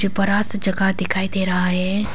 बड़ा सा जगह दिखाई दे रहा है।